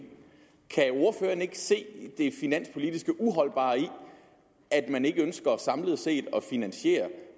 se det finanspolitisk uholdbare i at man ikke ønsker samlet set at finansiere